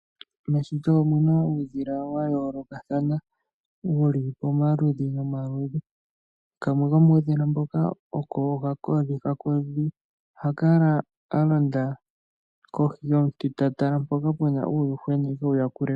Meshito omu na uudhila wa yoolokathana wu li pamaludhi nomaludhi. Kamwe komuudhila mboka oko okakodhi. Okakodhi oha kala a londa kohi yomuti ta tala mpoka pu na uuyuhwena e ke wu yakule po.